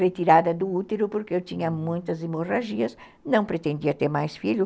Retirada do útero porque eu tinha muitas hemorragias, não pretendia ter mais filho.